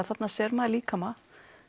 þarna sér maður líkama